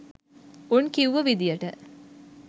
උන් කිව්ව විදියට